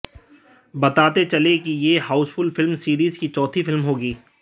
बताते चलें कि यह हाउसफुल फिल्म सीरीज की चौथी फिल्म होगी